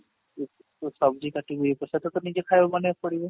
ଉଁ ଉଁ କାଟି ନି ପ୍ରଶାଦ ତ ନିଜେ ଖାଇବା ବନେଇବାକୁ ପଡିବ